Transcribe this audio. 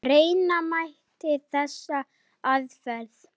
Reyna mætti þessa aðferð.